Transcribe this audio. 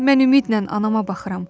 Mən ümidlə anama baxıram.